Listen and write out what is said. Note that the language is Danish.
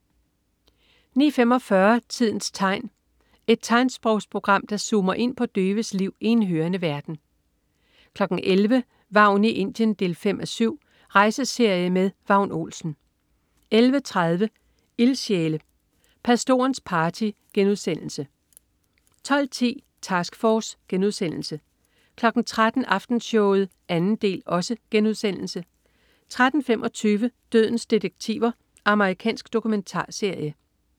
09.45 Tidens tegn. Et tegnsprogsprogram, der zoomer ind på døves liv i en hørende verden 11.00 Vagn i Indien 5:7. Rejseserie med Vagn Olsen 11.30 Ildsjæle. Pastorens party* 12.10 Task Force* 13.00 Aftenshowet 2. del* 13.25 Dødens detektiver. Amerikansk dokumentarserie